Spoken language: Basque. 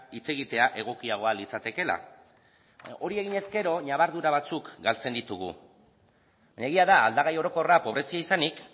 hitz egitea egokiagoa litzatekeela hori egin ezkero ñabardura batzuk galtzen ditugu egia da aldagai orokorra pobrezia izanik